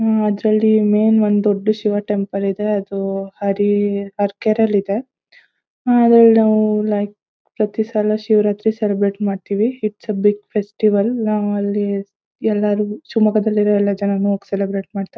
''ಹ್ಮ್ಮ್ಮ್ ಅದರಲ್ಲಿ ಮೆನ್ ಒಂದ್ ದೊಡ್ಡ್ ಶಿವ ಟೆಂಪಲ್ ಇದೆ. ಅದು ಹರಿ ಹಾರ್ಕೆರೆ ಅಲ್ಲಿ ಇದೆ ಅದರಲ್ಲಿ ನಾವು ಲೈಕ್ ಪ್ರತಿ ಸಲ ಶಿವರಾತ್ರಿ ಸೆಲೆಬ್ರೆಟ್ ಮಾಡ್ತೀವಿ ಇಟ್ಸ್ ಅ ಬಿಗ್ ಫೆಸ್ಟಿವಲ್ ನಾವು ಅಲ್ಲಿ ಎಲ್ಲರು ಶಿವಮೊಗ್ಗದಲ್ಲಿ ಇರೋ ಎಲ್ಲ ಜನರು ಹೋಗ್ ಸೆಲೆಬ್ರೆಟ್ ಮಾಡ್ತಾರೆ.''